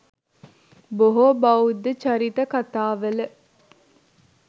බොහෝ බෞද්ධ චරිත කතාවල